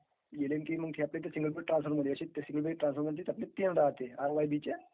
is not clear R Y बीच्या